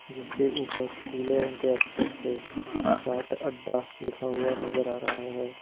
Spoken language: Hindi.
और उसके ऊपर पीले रंग के अक्षर से चाट अड्डा लिखा हुआ नजर आ रहा है।